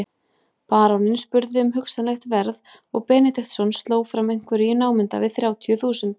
Baróninn spurði um hugsanlegt verð og Benediktsson sló fram einhverju í námunda við þrjátíu þúsund.